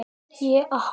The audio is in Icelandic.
Hver talar?